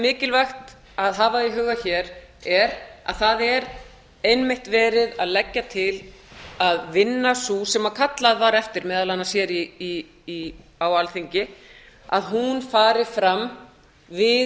mikilvægt að hafa í huga hér er að það er einmitt verið að leggja til að vinna sú sem kallað var eftir meðal annars hér á alþingi fari fram við